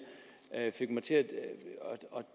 fik mig til at